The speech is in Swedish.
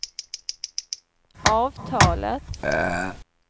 avtalet